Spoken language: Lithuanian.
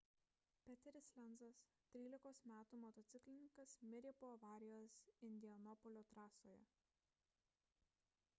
peteris lenzas 13 m motociklininkas mirė po avarijos indianapolio trasoje